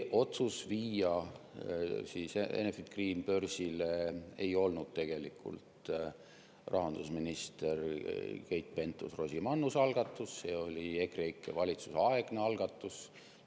Otsus viia Enefit Green börsile ei olnud tegelikult rahandusminister Keit Pentus-Rosimannuse algatus, see oli EKREIKE valitsuse aegne algatus.